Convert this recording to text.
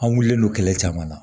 An wililen don kɛlɛ caman na